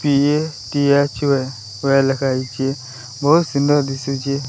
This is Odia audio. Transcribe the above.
ପି_ଏ_ଟି_ଏଚ_ୟୁ_ଏ ଭଳିଆ ଲେଖା ହେଇଚି ବହୁତ ସୁନ୍ଦର ଦିଶୁଚି।